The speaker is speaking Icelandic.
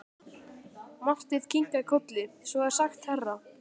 Marteinn kinkaði kolli: Svo er sagt herra.